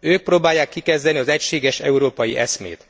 Ők próbálják kikezdeni az egységes európai eszmét.